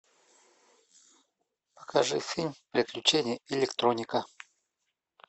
покажи фильм приключения электроника